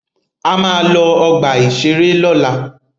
A máa lọ ọgbà-ìṣeré lọ́la.